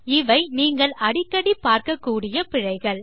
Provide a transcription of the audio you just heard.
இவை நீங்கள் அடிக்கடிப் பார்க்கக்கூடிய பிழைகள்